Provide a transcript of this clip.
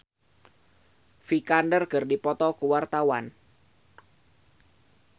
Novita Dewi jeung Alicia Vikander keur dipoto ku wartawan